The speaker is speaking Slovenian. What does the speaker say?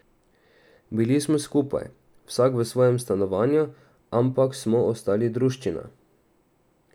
Bili smo skupaj, vsak v svojem stanovanju, ampak smo ostali druščina.